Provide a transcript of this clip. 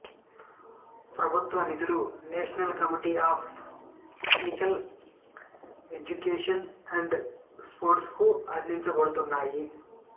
ప్రభుత్వ నిధులు national committee of physical education and sports కు అందించబడుతున్నాయి